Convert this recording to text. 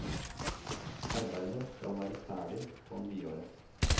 Arbeidet skal være ferdig på nyåret.